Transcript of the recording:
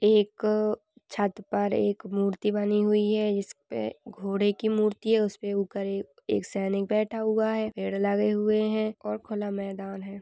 एक छत पर एक मूर्ति बनी हुई है इसपे घोड़े की मूर्ति है उसपे ऊपर एक सैनिक बैठा हुआ है पेड़ लगे हुए है और खुला मेदान है।